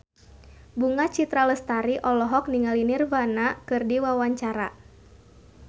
Bunga Citra Lestari olohok ningali Nirvana keur diwawancara